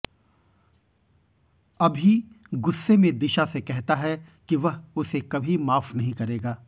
अभि गुस्से में दिशा से कहता है कि वह उसे कभी माफ नहीं करेगा